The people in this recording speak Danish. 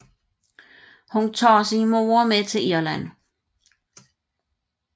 Hun tager sin mor med til Irland